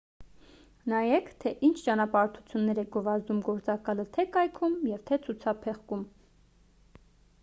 նայեք թե ինչ ճանապարհորդություններ է գովազդում գործակալը թե կայքում և թե ցուցափեղկում